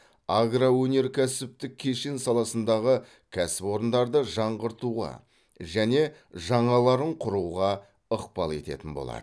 агроөнеркәсіптік кешен саласындағы кәсіпорындарды жаңғыртуға және жаңаларын құруға ықпал ететін болады